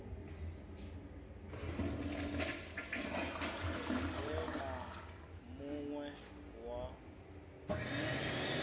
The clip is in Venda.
we na mun we wa